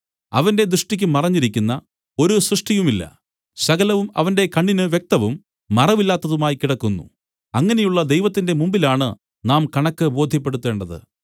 അവന്റെ ദൃഷ്ടിയ്ക്ക് മറഞ്ഞിരിക്കുന്ന ഒരു സൃഷ്ടിയുമില്ല സകലവും അവന്റെ കണ്ണിന് വ്യക്തവും മറവില്ലാത്തതുമായി കിടക്കുന്നു അങ്ങനെയുള്ള ദൈവത്തിന്റെ മുമ്പിലാണു നാം കണക്ക് ബോദ്ധ്യപ്പെടുത്തേണ്ടത്